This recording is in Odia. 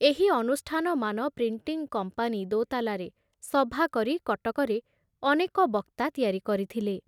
ଏହି ଅନୁଷ୍ଠାନମାନ ପ୍ରିଣ୍ଟିଂ କମ୍ପାନୀ ଦୋତାଲାରେ ସଭା କରି କଟକରେ ଅନେକ ବକ୍ତା ତିଆରି କରିଥିଲେ ।